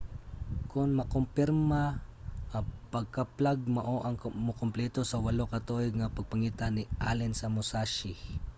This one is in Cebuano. kon makumpirma ang pagkaplag mao ang mukompleto sa walo ka tuig nga pagpangita ni allen sa musashi